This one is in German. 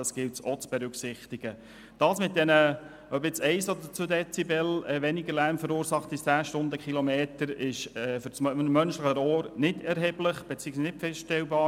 Ausserdem ist unserer Ansicht nach die erzielte Lärmreduktion von 1 oder 2 Dezibel für das menschliche Ohr normalerweise nicht wahrnehmbar.